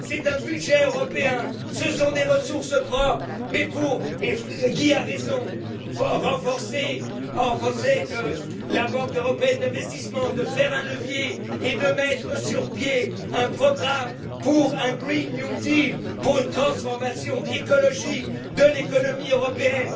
C'est un budget européen, ce sont des ressources propres et Guy a raison mais pour renforcer la Banque européenne d'investissement, faire levier et mettre sur pied un programme pour un green new deal pour une transformation écologique de l'économie européenne.